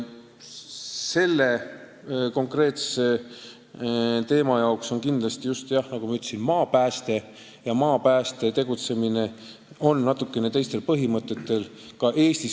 See konkreetne teema on, nagu ma ütlesin, maapäästega seotud ja maapääste tegutseb natukene teiste põhimõtete järgi.